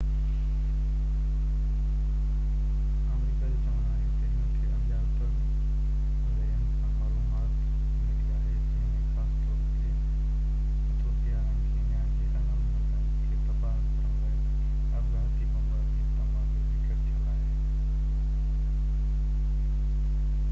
آمريڪا جو چوڻ آهي تہ هن کي اڻڃاتل زريعن کان معلومات ملي آهي جنهن ۾ خاص طور تي ايٿوپيا ۽ ڪينيا جي اهم هنڌن کي تباه ڪرڻ لاءِ آپگهاتي بمبارن جي استعمال جو ذڪر ٿيل آهي